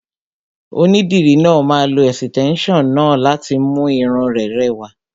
Onídìrí náà máa lo ẹ̀sìtẹ́nson náà láti mú irun rẹ rẹwà.